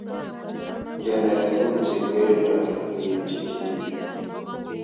Kenai tugul che kirindoi keitchi tipik